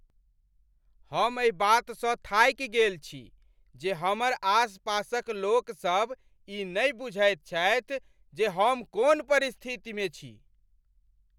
हम एहि बातसँ थाकि गेल छी जे हमर आसपासक लोकसभ ई नहि बुझैत छथि जे हम कोन परिस्थितिमे छी।